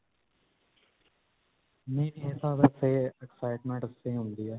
excitement ਵਾਸਤੇ ਹੀ ਹੁੰਦੀ ਹੈ.